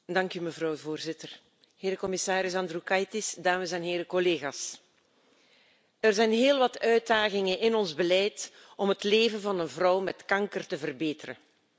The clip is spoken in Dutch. Dank u, mevrouw de voorzitter. Commissaris Andriukaitis, dames en heren collega's, er zijn heel wat uitdagingen in ons beleid om het leven van een vrouw met kanker te verbeteren.